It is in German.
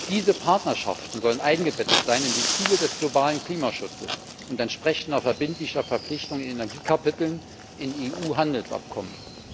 Diese Partnerschaften sollen eingebettet sein in die Ziele des globalen Klimaschutzes und entsprechende verbindliche Verpflichtungen in Energiekapiteln in EU Handelsabkommen.